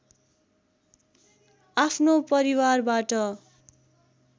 आफ्नो परिवारबाट